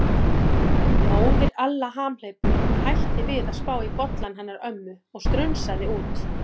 Móðir Alla hamhleypu hætti við að spá í bollann hennar ömmu og strunsaði út.